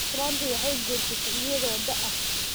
Islaantii waxay guursatay iyadoo da’ ah.